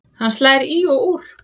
Hann slær í og úr.